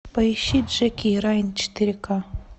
поищи джеки и райан четыре ка